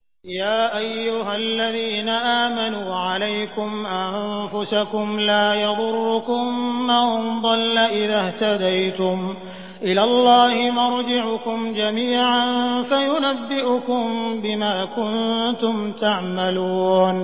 يَا أَيُّهَا الَّذِينَ آمَنُوا عَلَيْكُمْ أَنفُسَكُمْ ۖ لَا يَضُرُّكُم مَّن ضَلَّ إِذَا اهْتَدَيْتُمْ ۚ إِلَى اللَّهِ مَرْجِعُكُمْ جَمِيعًا فَيُنَبِّئُكُم بِمَا كُنتُمْ تَعْمَلُونَ